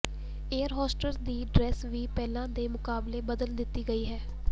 air hostess ਦੀ dress ਵੀ ਪਹਿਲਾਂ ਦੇ ਮੁਕਾਬਲੇ ਬਦਲ ਦਿੱਤੀ ਗਈ ਹੈ